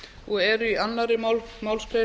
og eru í annarri málsgrein